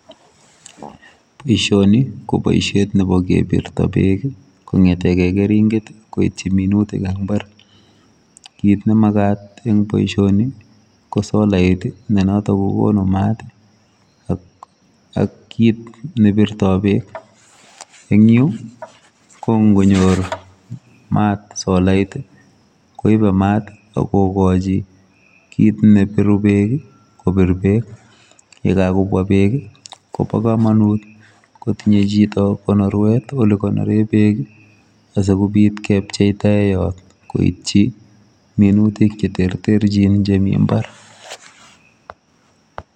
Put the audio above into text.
Boisioni ko boisiet nebo kebirtaa beek ii ko ngetengei keringeet ii koityi minutiik ab mbar ,kit ne magaat en boisioni ko solait ii ne notoon kokonuu maat ak kiit ne birtoi beek ,eng Yuu ko ngo nyoor maat solait ii koibet maat ak kogachiin kiit ne biruu beek ii kobiit beek ye kagobwaa beek ii kobaa kamanut kotinyei chito konoruet Ile konoreen beek asikobiit kecheptaen koityi minutiik che terterjiin chemii mbar.